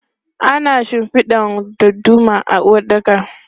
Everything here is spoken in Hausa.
Ana shinfida dadduma a uwaɗɗaka.